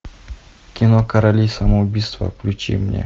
кино короли самоубийства включи мне